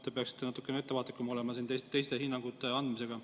Te peaksite natuke ettevaatlikum olema teistele hinnangute andmisega.